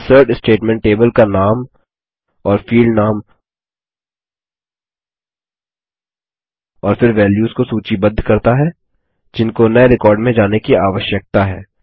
insert statement table का नाम और फील्ड नाम और फिर वैल्यूस को सूचीबद्ध करता है जिनको नये रिकॉर्ड में जाने की आवश्यकता है